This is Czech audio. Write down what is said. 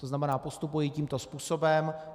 To znamená, postupuji tímto způsobem.